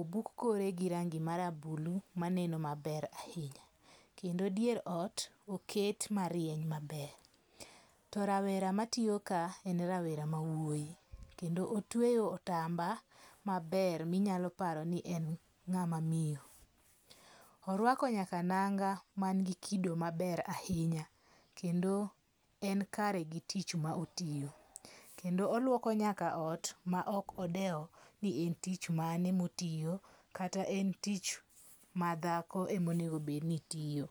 obuk kore gi rangi marabulu manen maber ahinya, kendo dier ot oket marieny maber, to rawera matiyo kae en rawera ma wuoyi, kendo otweyo otamba maber mi inyalo paro ni en ngama miyo, oruako nyaka nanga man gi kido maber ahinya, kendo en kare gi tich ma otiyo, kendo oluoko nyaka ot ma okodewo ni en tich mane motiyo kata en tich ma dhako ema onego bed ni tiyo.